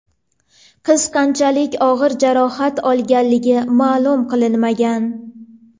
Qiz qanchalik og‘ir jarohat olganligi ma’lum qilinmagan.